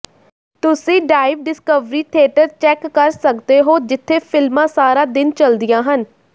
ਤੁਸੀਂ dive discovery theatre check ਕਰ ਸਕਦੇ ਹੋ ਜਿੱਥੇ ਫਿਲਮਾਂ ਸਾਰਾ ਦਿਨ ਚੱਲਦੀਆਂ ਹਨ